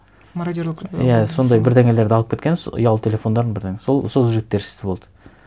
мародерлық иә сондай бірдеңелерді алып кеткен ұялы телефондарын бірдеңе сол жігіттер істі болды